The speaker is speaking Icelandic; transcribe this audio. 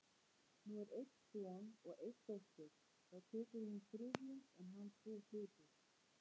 Nú er einn son og ein dóttir, þá tekur hún þriðjung en hann tvo hluti.